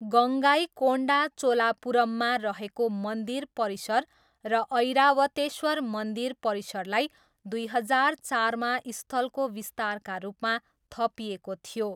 गङ्गाइकोन्डा चोलापुरममा रहेको मन्दिर परिसर र ऐरावतेश्वर मन्दिर परिसरलाई दुई हजार चारमा स्थलको विस्तारका रूपमा थपिएको थियो।